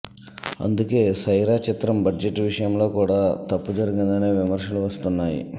అందుకే సైరా చిత్రం బడ్జెట్ విషయంలో కూడా తప్పు జరిగిందనే విమర్శలు వస్తున్నాయి